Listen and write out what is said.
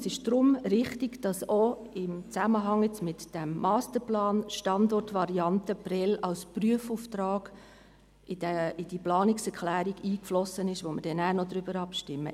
Es ist daher richtig, dass auch jetzt im Zusammenhang mit diesem Masterplan die Standortvariante Prêles als Prüfauftrag in die Planungserklärung eingeflossen ist, über die wir nachher noch abstimmen.